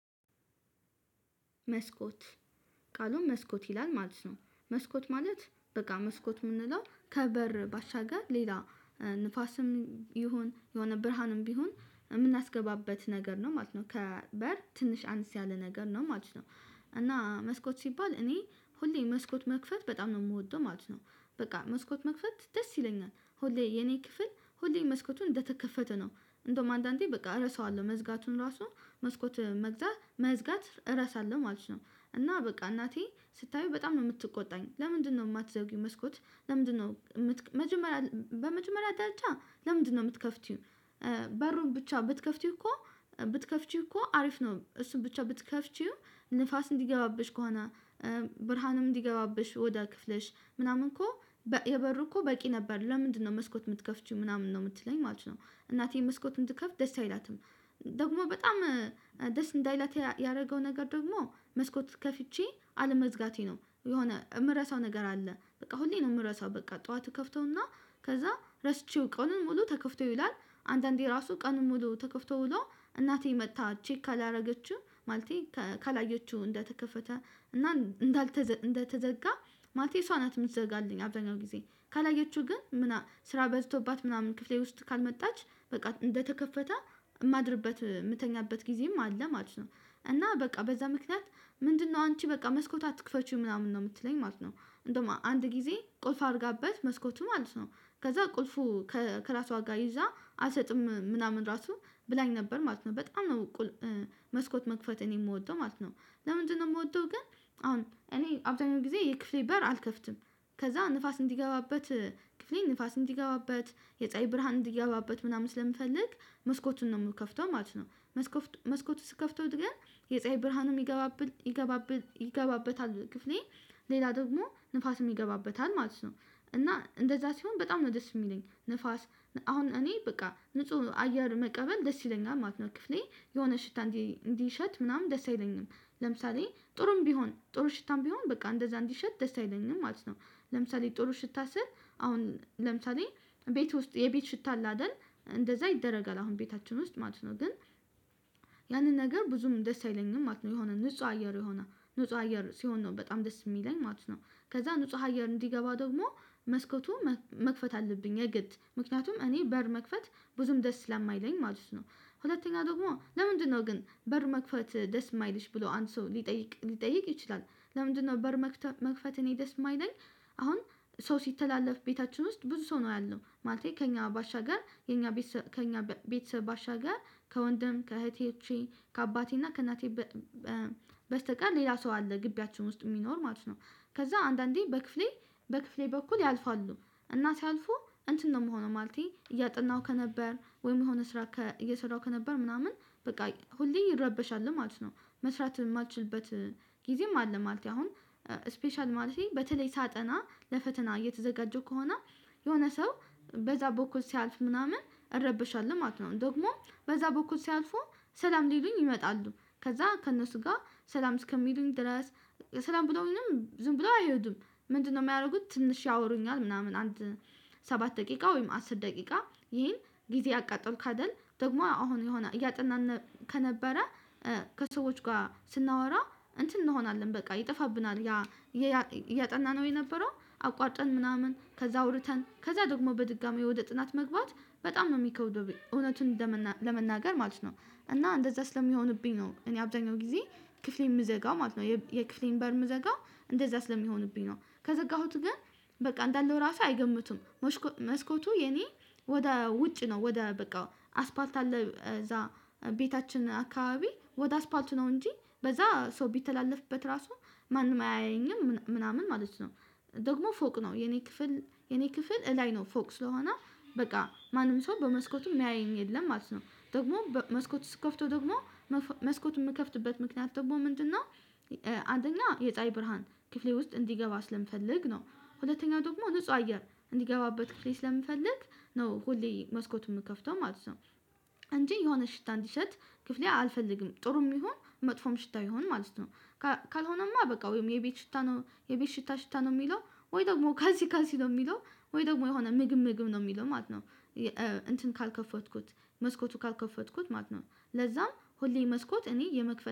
መስኮት ቃሉን መስኮት ይላል ማለት ነው መስኮት ማለት በቃ መስኮት የምንለው ከበር ባሻገር ሌላ ንፋስም ይሁን የሆነ ብርሃንም ቢሆን የምናስገባበት ነገር ነው ማለት ነው። ከበር ትንሽ አነስ ያለ ነገር ነው ማለት ነው። እና መስኮት ሲባል እኔ ሁሌ መስኮት መክፈት በጣም ነው የምወደው ማለት ነው። በቃ መስኮት መክፈት ደስ ይለኛል ሁሌ የኔ ክፍል ሁሌ መስኮቱ እንደተከፈተ ነው እንደውም አንዳንዴ በቃ እረሳዋለሁ መዝጋቱን ራሱ መስኮት መግዛት መዝጋት እረሳለሁ ማለት ነው። እና በቃ እናቴ ስታየው በጣም ነው የምትቆጣኝ ለምንድነው የማትዘጊው መስኮት? ለምንድነው መጀመሪያ በመጀመሪያ ደረጃ ለምንድነው የምትከፍቸው? በሩን ብቻ ብትከፍቺው እኮ ብትከፍቺው እኮ አሪፍ ነው። እሱን ብቻ ብትከፍቺው ንፋስ እንዲገባብሽ ከሆነ ብርሃንም እንዲገባብሽ ወዳ ክፍለሽ ምናምን እኮ የበሩ እኮ በቂ ነበር ለምንድነው መስኮት የምትከፍቺው ምናምን ነው የምትለኝ ማለት ነው። እናቴን መስኮት እንድከፍት ደስ አይላትም። ደግሞ በጣም ደስ እንዳይላት ያደረገው ነገር ደግሞ መስኮት ከፍቼ አለመዝጋቴ ነው። የሆነ የምረሳው ነገር አለ በቃ ሁሌ ነው የምረሳው በቃ ጠዋት ከፍተውና ከዛ ረስቼው ቀኑን ሙሉ ተከፍቶ ይዉላል። አንደ እንዴ ራሱ ቀኑን ሙሉ ተከፍቶ ውሎ እናቴ መጥታ ቼክ ካላደረገችው ማለቴ ካላየችው እንደተከፈተ እና እንዳልተዘጋ ማለቴ እሷ ናት የምትዘጋልኝ። አብዛኛውን ጊዜ ካላየችው ግን ምናምን ስራ በዝቶባት ምናምን ክፍሌ ውስጥ ካልመጣች በቃ እንደተከፈተ የማድርበት የምተኛበት ጊዜም አለ ማለት ነው። እና በቃ በዛ ምክንያት ምንድነው አንቺ በቃ መስኮት አትክፈቺ ምናምን ነው የምትለኝ ማለት ነው። እንደውም አንድ ጊዜ ቁልፍ አድርጋበት መስኮቱ ማለት ነው ከዛ ቁልፉ ከራሷ ጋር ይዛ አልሰጥም ምናምን ራሱ ብላኝ ነበር ማለት ነው በጣም ነው። መስኮት መክፈት እኔ የምወደው ማለት ነው። ለምንድነው የምወደው ግን አሁን እኔ አብዛኛው ጊዜ የክፍሌ በር አልከፍትም። ከዛ ንፋስ እንዲገባበት ክፍሌ ንፋስ እንዲገባበት የፀሀይ ብርሃን እንዲገባበት ምናምን ስለምፈልግ መስኮቱን ነው የምከፍተው ማለት ነው። መስኮቱ ስከፍተውት ግን የፀሀይ ብርሃንም የሚገባበት ይገባበታል ክፍሌ ሌላ ደግሞ ንፋስም ይገባበታአል ማለት ነው። እና እንደዛ ሲሆን በጣም ነው ደስ የሚለኝ ንፋስ አሁን እኔ በቃ ንጹህ አየር መቀበል ደስ ይለኛል ማለት ነው። ክፍሌ የሆነ ሽታ እንዲሸት ምናምን ደስ አይለኝም። ለምሳሌ ጥሩም ቢሆን ጥሩ ሽታም ቢሆን በቃ እንደዛ እንዲሸት ደስ አይለኝም ማለት ነው። ለምሳሌ ጥሩ ሽታ ስል አሁን ለምሳሌ ቤት ውስጥ የቤት ሽታ አለአደል እንደዛ ይደረጋል አሁን ቤታችን ውስጥ ማለት ነው ግን። ያንን ነገር ብዙም ደስ አይለኝም ማለት ነው የሆነ ንጹህ አየር የሆነ ንጹህ አየር ሲሆን ነው በጣም ደስ የሚለኝ ማለት ነው። ከዛ ንጹህ አየር እንዲገባ ደግሞ መስኮቱ መክፈት አለብኝ የግድ ምክንያቱም እኔ በር መክፈት ብዙም ደስ ስለማይለኝ ማለት ነው። ሁለተኛ ደግሞ ለምንድነው ግን በር መክፈት ደስ የማይልሽ ብሎ አንድ ሰው ሊጠይቅ ሊጠይቅ ይችላል። ለምንድነው በር መክፈት እኔ ደስ የማይለኝ? አሁን ሰው ሲተላለፍ ቤታችን ውስጥ ብዙ ሰው ነው ያለው ማለት ከእኛ ባሻገር ከእኛ ቤት ከእኛ ቤት ባሻገር ከወንድም ከእህቶቼ ከአባቴ እና ከእናቴ በስተቀር ሌላ ሰው አለ ግቢያችን ውስጥ የሚኖር ማለት ነው። ከዛ አንዳንዴ በክፍሌ በኩል ያልፋሉ እና ሲያልፉ እንትን ነው የምሆነው ማለቴ እያጠናሁ ከነበር ወይም የሆነ ስራ እየሰራሁ ከነበር ምናምን በቃ ሁሌ እረበሻለሁ ማለት ነው። መስራት የማልችልበት ጊዜም አለ። ማለቴ አሁን ስፔሻል ማለቴ በተለይ ሳጠና ለፈተና እየተዘጋጀው ከሆነ የሆነ ሰው በዛ በኩል ሲያልፍ ምናምን እረበሻለሁ ማለት ነው። ደግሞ በዛ በኩል ሲያልፉ ሰላም ሊሉኝ ይመጣሉ ከዛ ከእነሱ ጋር ሰላም እስከሚሉኝ ድረስ ሰላም ብለውኝም ዝም ብለው አይሄዱም። ምንድነው የሚያደርጉት? ትንሽ ያወሩኛል ምናምን አንድ ሰባት ደቂቃ ወይም አስር ደቂቃ ይሄን ጊዜ አቃጠልኩ አይደል ደግሞ አሁን የሆነ እያጠናን ከነበረ ከሰዎች ጋር ስናወራ እንትን እንሆናለን በቃ ይጠፋብናል ያ እያጠናነው የነበረው አቋርጠን ምናምን ከዛ አውርተን ከዛ ደግሞ በድጋሚ ውደ ጥናት መግባት በጣም ነው የሚከብደው እውነቱን ለመናገር ማለት ነው። እና እንደዛ ስለሚሆንብኝ ነው እኔ አብዛኛው ጊዜ ክፍሌን የምዘጋው ማለት ነው። የክፍሌን በር የምዘጋው እንደዛ ስለሚሆንብኝ ነው። ከዘጋሁት ግን በቃ እንዳለው ራሱ አይገምቱም። መስኮቱ የኔ ወደ ውጭ ነው ወደ በቃ አስፓልት አለ እዛ ቤታችን አካባቢ ወደ አስፓልቱ ነው እንጂ በዛ ሰው ቢተላለፍበት ራሱ ማንም አያየኝም ምናምን ማለት ነው። ደግሞ ፎቅ ነው የኔ ክፍል የኔ ክፍል እላይ ነው ፎቅ ስለሆነ በቃ ማንም ሰው በመስኮቱም የሚያየኝ የለም ማለት ነው። ደግሞም መስኮቱን ስትከፍተው ደግሞ መስኮት የምከፍትበት ምክንያት ደግሞ ምንድነው? አንደኛ የፀሀይ ብርሃን ክፍሌ ውስጥ እንዲገባ ስለምፈልግ ነው። ሁለተኛው ደግሞ ንጹህ አየር እንዲገባበት ክፍሌ ስለምፈልግ ነው ሁሌ መስኮት የምከፍተው ማለት ነው። እንጂ የሆነ ሽታ እንዲሸት ክፍሌ አልፈልግም ጥሩም ይሁን መጥፎም ሽታ ይሁን ማለት ነው። ካልሆነማ በቃ ወይም የቤት ሽታ ነው የቤት ሽታ ሽታ ነው የሚለው ወይ ደግሞ ካልሲ ካልሲ ነው የሚለው ወይ ደግሞ የሆነ ምግብ ምግብ ነው የሚለው ማለት ነው። እንትን ካልከፈትኩት መስኮቱ ካልከፈትኩት ማለት ነው ለዛም ሁሌ መስኮት እኔ የመክፈት